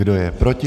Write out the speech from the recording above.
Kdo je proti?